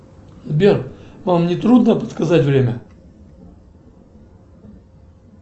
сбер вам не трудно подсказать время